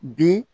Bi